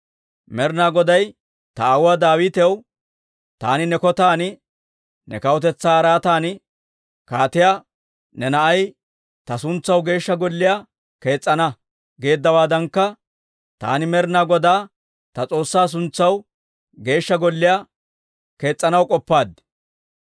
Med'inaa Goday ta aawuwaa Daawitaw, ‹Taani ne Kotaan, ne kawutetsaa araatan kaateyiyaa ne na'ay ta suntsaw Geeshsha Golliyaa kees's'ana› geeddawaadankka, taani Med'inaa Godaa ta S'oossaa suntsaw Geeshsha Golliyaa kees's'anaw k'oppaaddii.